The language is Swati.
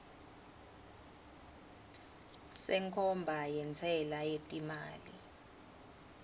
senkhomba yentsela yetimali